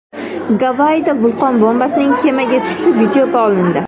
Gavayida vulqon bombasining kemaga tushishi videoga olindi .